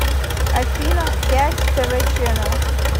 афина пять тэ вэ ченэл